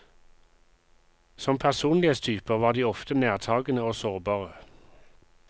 Som personlighetstyper var de ofte nærtagende og sårbare.